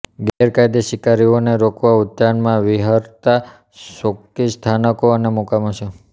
ગેરકાયદે શિકારીઓને રોકવા ઉદ્યાનમાં વિહરતા ચોકી સ્થાનકો અને મુકામો છે